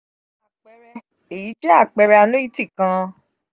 apeere: eyi je apeere annuity kan